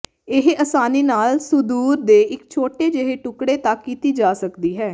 ਇਹ ਆਸਾਨੀ ਨਾਲ ਸੁਦੂਰ ਦੇ ਇੱਕ ਛੋਟੇ ਜਿਹੇ ਟੁਕੜੇ ਤੱਕ ਕੀਤੀ ਜਾ ਸਕਦੀ ਹੈ